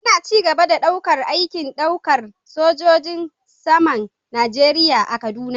Ana ci gaba da daukar aikin daukar sojojin saman Najeriya a kaduna